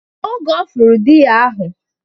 Oge Ọ fụrụ di ya ahụ